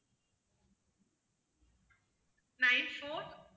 nine four